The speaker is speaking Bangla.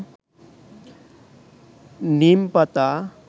নীম পাতা